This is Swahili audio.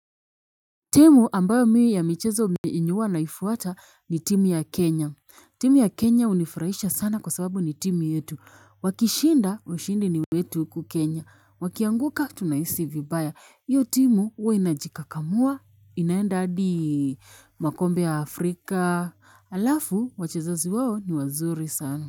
Timu ambayo mimi ya michezo ambayo naifuata ni timu ya Kenya. Timu ya Kenya hunifarisha sana kwa sababu ni timu yetu. Wakishinda ushindi ni wetu huku kenya. Wakianguka tunaisi vibaya. Iyo timu huwe inajikakamua inaenda hadi makombe ya Afrika. Alafu wachezaji wao ni wazuri sana.